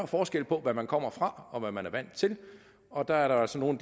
forskel på hvad man kommer fra og hvad man er vant til og der er der altså nogle